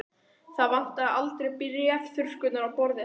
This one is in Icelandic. Það vantaði aldrei bréfþurrkurnar á borði hans.